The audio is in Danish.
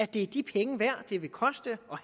det er de penge værd det vil koste